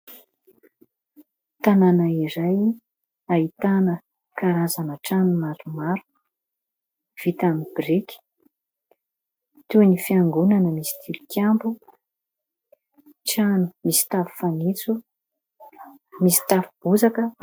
Tanàna iray ahitana karazana trano maromaro vita amin'ny biriky : toy ny fiangonana misy tilikambo, trano misy tafo fanitso, misy tafo bozaka.